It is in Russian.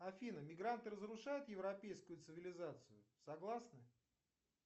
афина мигранты разрушают европейскую цивилизацию согласны